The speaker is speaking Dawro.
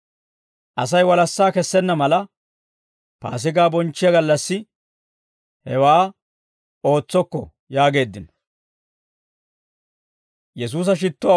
«Asay walassaa kessenna mala, Paasigaa bonchchiyaa gallassi hewaa ootsokko» yaageeddino.